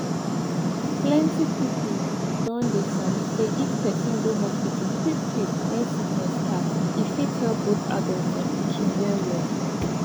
plenty people don dey sabi say if person go hospital quick quick when sickness start e fit help both adults and pikin well well